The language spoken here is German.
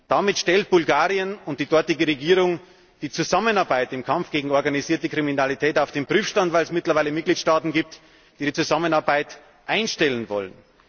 Damit stellt Bulgarien die dortige Regierung die Zusammenarbeit im Kampf gegen die organisierte Kriminalität auf den Prüfstand, weil es mittlerweile Mitgliedstaaten gibt, die die Zusammenarbeit einstellen wollen.